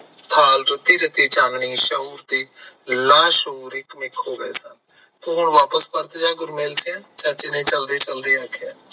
ਰੱਤੀ ਚਾਨਣੀ, ਸ਼ੋਰ ਤੇ ਲਾਸ਼ੋਰ, ਇੱਕ ਮਿੱਕ ਹੋ ਗਏ ਸਨ, ਤੂੰ ਹੁਣ ਵਾਪ੍ਸ ਪਰਤ ਜਾ ਗੁਰਮੇਲ ਸਿਯਾ, ਚਾਚੇ ਨੇ ਚਲਦੇ ਚਲਦੇ ਆਖਿਆ